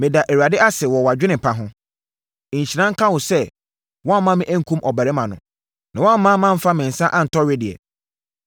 Ɛda Awurade ase wɔ wʼadwene pa ho. Nhyira nka wo sɛ woamma me ankum ɔbarima no, na woamma mamfa me nsa antɔ wedeɛ.